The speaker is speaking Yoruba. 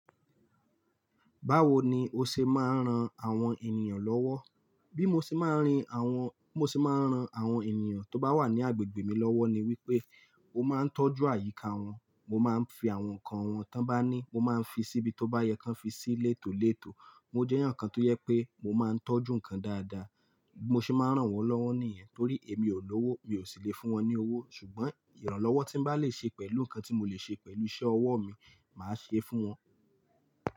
Báwo ni o ṣe máa ń ran àwọn ènìyàn lọ́wọ́? Bí mo ṣe máa ń rìn àwọn, bí mo ṣe máa ń ran àwọn ènìyàn tó bá wà ní agbègbè mi lọ́wọ́ ni wípé mo máa ń tọ́jú àyíká wọ́n, mo máa ń fi àwọn nǹkan wọ́n tó bá ní, mo máa ń fi síbi tó bá yẹ kó fi sí létòlétò. Mo jẹ́ èyàn kan tó yẹ pé mo máa ń tọ́jú ǹkan dáadáa. Mo ṣe máa ń ràn wọ́n lọ́wọ́ nìyẹn torí èmi ò lówó, mi ò sì le fún wọn ní owó. Ṣùgbọ́n ìrànlọ́wọ́ tí m bá lè ṣe pẹ̀lú nǹkan tí mo lè ṣe pẹ̀lú iṣẹ́ ọwọ́ mi, màá ṣe é fún wọn.